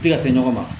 Tɛ ka se ɲɔgɔn ma